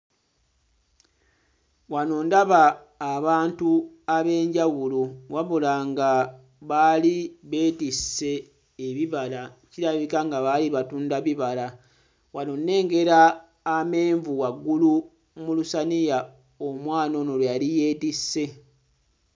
Wano ndaba abantu ab'enjawulo. Wabula nga baali beetisse ebibala, kirabika nga baali batunda bibala. Wano nnengera amenvu waggulu mu lusaniya omwana ono lwe yali yeetisse.